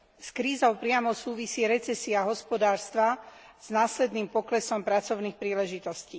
S krízou priamo súvisí recesia hospodárstva s následným poklesom pracovných príležitostí.